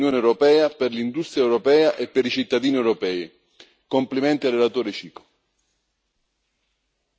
Un ottimo risultato, dunque, per l'Unione europea, per l'industria europea e per i cittadini europei. Complimenti al relatore Cicu.